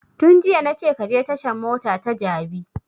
Tun jiya na ce ka je tashan mota ta jabi